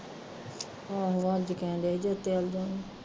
ਆਂਹੋ ਅੱਜ ਕਹਿਣ ਦਿਆਂ ਹੀ ਤੇ ਉੱਤੇ ਆਂਦਾ